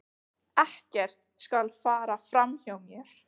Ekkert skal fara fram hjá mér.